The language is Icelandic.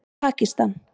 Pakistan